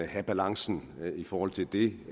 have balancen i forhold til det